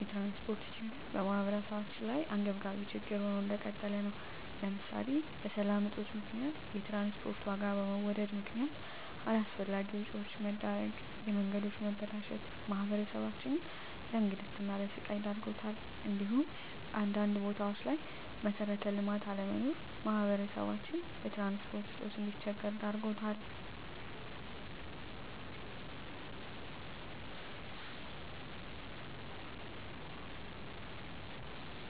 የትራንስፖርት ችግር በማህበረሰባችን ላይ አንገብጋቢ ችግር ሆኖ እንደቀጠለ ነው ለምሳሌ በሰላም እጦት ምክንያት የትራንስፖርት ዋጋ በመወደድ ምክነያት አላስፈላጊ ወጪዎች መዳረግ፣ የመንገዶች መበላሸት ማህበረሰባችንን ለእንግልትና ለስቃይ ዳርጓታል እንዲሁም አንዳንድ ቦታዎች ላይ መሠረተ ልማት አለመኖር ማህበረሰባችን በትራንስፖርት እጦት እንዲቸገር ዳርጎታል።